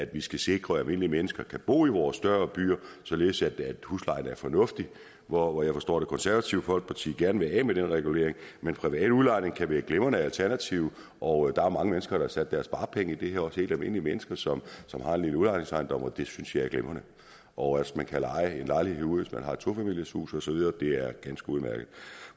vi skal sikre at almindelige mennesker kan bo i vores større byer således at huslejen er fornuftig og jeg forstår at det konservative folkeparti gerne vil af med den regulering men privat udlejning kan være et glimrende alternativ og der er mange mennesker der har sat deres sparepenge i det her også helt almindelige mennesker som som har en lille udlejningsejendom og det synes jeg er glimrende og at man kan leje en lejlighed ud hvis man har et tofamilieshus osv er ganske udmærket